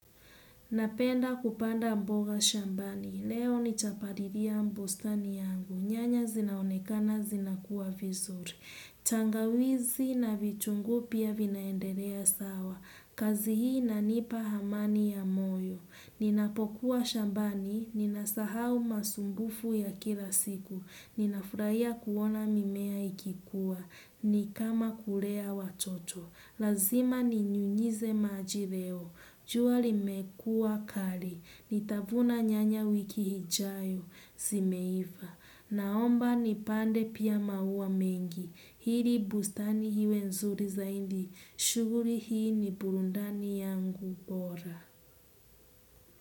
Napenda kupanda mboga shambani, leo nitapalilia bustani yangu, nyanya zinaonekana zinakuwa vizuri. Tangawizi na vitunguu pia vinaendelea sawa, kazi hii inanipa amani ya moyo. Ninapokuwa shambani, ninasahau masumbufu ya kila siku, ninafurahia kuona mimea ikikuwa, ni kama kulea watoto. Lazima ninyunyize maji leo. Jua limekua kali. Nitavuna nyanya wiki ijayo. Zimeiva. Naomba nipande pia maua mengi. Ili bustani iwe nzuri zaidi. Shughuli hii ni burudani yangu bora.